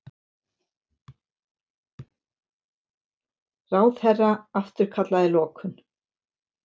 Ráðherra afturkallaði lokun